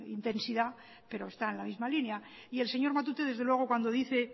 intensidad pero está en la misma línea y el señor matute desde luego cuando dice